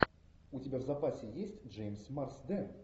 у тебя в запасе есть джеймс марсден